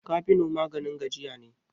cafino maganin gajiya ne